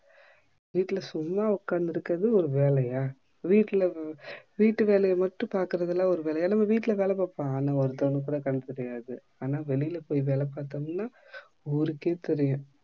வீட்டுல சும்மா உக்காந்து இருக்குறது ஒரு வேலையா? வீட்ல வீட்டு வேலைய மட்டும் பாக்குறது லாம் ஒரு வேலைய ஆனா நம்ப வீட்டுல வேல பாப்போம் அதுலாம் கண்ணு தெரியாது வெளில போய் வேல பாத்தோம்னா ஊருக்கே தெரியும்